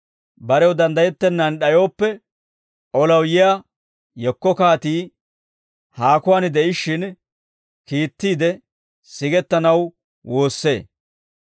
Barew danddayettennaan d'ayooppe, olaw yiyaa yekko kaatii haakuwaan de'ishshin kiittiide sigettanaw woossee.